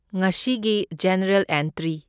ꯉꯁꯤꯒꯤ general entry.